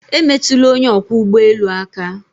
Emetụla onye ọkwọ ụgbọ elu aka!